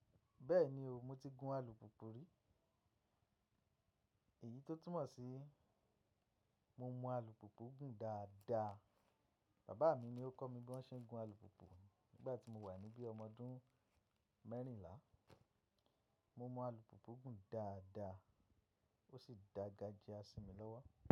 Bẹ́ẹ̀ni o, mo ti gun alùpùpù rí. Èyí tó túmọ̀ sí mo mọ alùpùpù gún dáadáa. Bàbá mi ni ó kọ́ mi bí wọ́n ṣe ń gun alùpùpù nígbà tí mo wà ní bí ọmọ ọdún mẹ́rìnlá. Mo mọ alùpùpù gún dáadáa, ó sì dágajia sì mí lọ́wọ́.